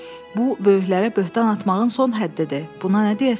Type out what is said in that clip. Bu, böyüklərə böhtan atmağın son həddidir, buna nə deyəsən?